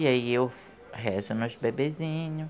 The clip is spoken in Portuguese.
E aí eu rezo nos bebezinho,